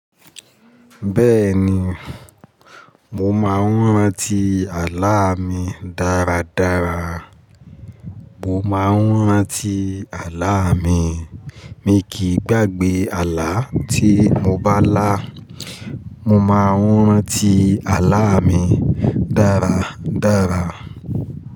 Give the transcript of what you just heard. Bẹ́ẹ̀ni, mo máa ń rántí àlá mi dáradára. Mo máa ń rántí àlá mi. Mi kì í gbàgbé àlá tí mo bá lá. Mo máa ń rántí àlá mi dáradára.